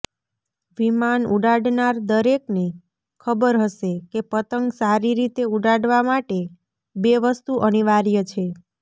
વિમાન ઉડાડનાર દરેકને ખબર હશે કે પતંગ સારી રીતે ઉડાડવા માટે બે વસ્તુ અનિવાર્ય છે